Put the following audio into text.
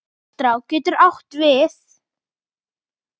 Leirá getur átt við